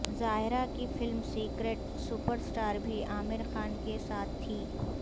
زائرہ کی film secret superstar بھی عامر خان کے ساتھ تھی